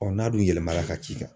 n'a dun yɛlɛmana ka k'i kan